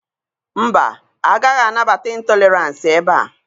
Mba, agaghị anabata ịntọleransị ebe a.